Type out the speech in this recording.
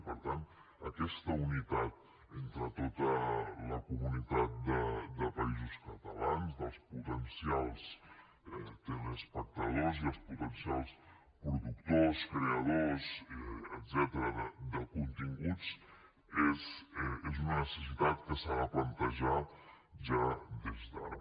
i per tant aquesta unitat entre tota la comunitat de països catalans dels potencials telespectadors i els potencials productors creadors etcètera de continguts és una necessitat que s’ha de plantejar ja des d’ara